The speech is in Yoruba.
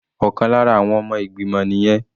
Ọ̀kan lára àwọn ọmọ ìgbìmọ̀ nìyẹn.